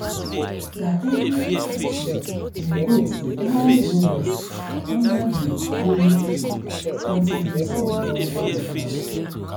na every afternoon dem goat dey always go rest for under the neem tree until the sun don cool down